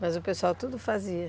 Mas o pessoal tudo fazia.